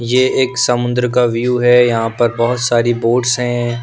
ये एक समुंद्र का व्यू है यहाँ पर बहुत सारी बोट्स हैं।